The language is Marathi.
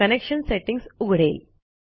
कनेक्शन सेटिंग्ज उघडेल